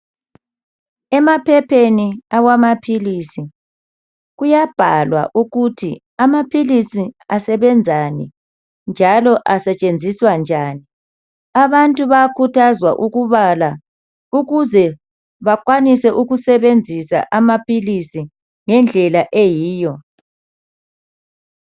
Emaphepheni awamaphilisi kuyabhalwa ukuthi amaphilisi asebenzani njalo asetshenziswa njani. Abantu bayakhuthazwa ukubala ukuze benelise ukusebenzisa amaphilisi ngendlela eyiyo.